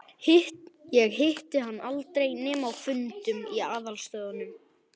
Ég hitti hann aldrei nema á fundum í aðalstöðvunum í